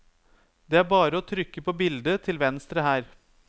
Det er bare å trykke på bildet til venstre her.